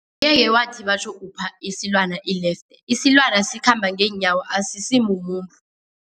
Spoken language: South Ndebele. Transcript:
Angeke wathi batjho upha isilwana ilefte, isilwana sikhamba ngeenyawo asisimumuntu.